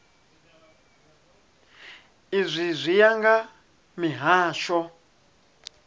izwi zwi ya nga mihasho